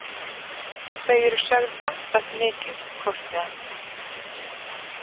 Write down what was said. Þau eru sögð gantast mikið hvort við annað.